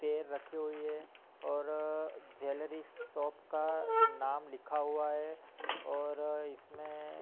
pair रखी हुई हैं और ज्वेलरी शॉप का नाम लिखा हुआ हैं और इसमें --